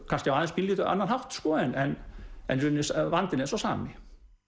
kannski á pínulítið annan hátt en en í rauninni vandinn er sá sami